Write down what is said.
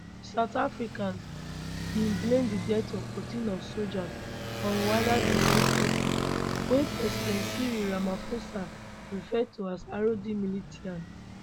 south africans bin blame di deaths of 14 of sojas on rwandan defense forces wey president cyril ramaphosa refer to as rdf militia